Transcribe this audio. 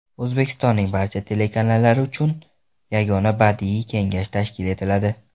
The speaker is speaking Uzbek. O‘zbekistonning barcha telekanallari uchun yagona badiiy kengash tashkil etiladi.